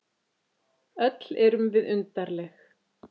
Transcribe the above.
Öll erum við undarleg.